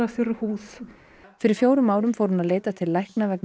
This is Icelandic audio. þurr húð fyrir fjórum árum fór hún að leita til lækna vegna